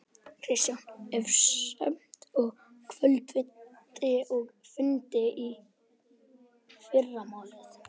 Kristján: Er stefnt að kvöldfundi og fundi í fyrramálið?